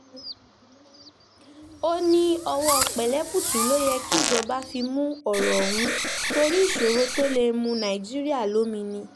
ó ní ọwọ́ pẹ̀lẹ́kùtù ló yẹ kíjọba fi mú ọ̀rọ̀ ọ̀hún torí ìṣòro tó lè mu nàìjíríà lomi ni